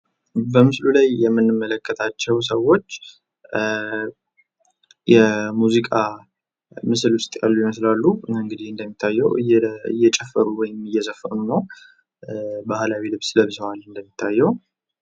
በምስሉ ላይ የምንመለከታቸው ሰዎች የሙዚቃ ምስል ውስጥ ያሉ ይመስላሉ እንግዲህ እንደሚታየው እየጨፈሩ ወይም እየዘፈኑ ነው። ባህላዊ ልብስ ለብሰዋል እንደሚታየው።